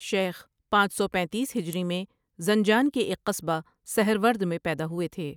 شیخ پانچ سو پینتیس ہجری میں زنجان کے ایک قصبہ سہرورد میں پیدا ہوئے تھے ۔